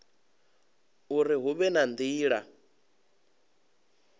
uri hu vhe na nila